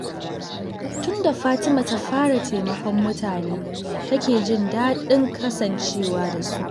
Tun da fatima ta fara taimakon mutane, ta ke jin daɗin kasancewa da su.